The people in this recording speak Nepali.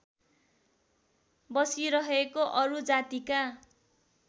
बसिरहेको अरू जातिका